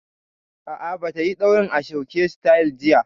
A'a, ba ta yi ɗaurin ashoke sityl jiya